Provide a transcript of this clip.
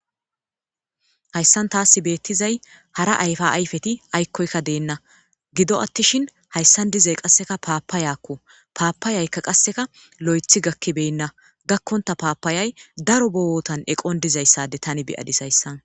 Hayssan taas beettizay hara ayfa ayfeti aykkoykka deenna gido attishin hayssan dizay qasseka paapa yaakku paapayaykka qasseka lo7ethi gakkibenna gakkonta paapayay daro bowotan eqon dizayssade tani beyadis hayssa.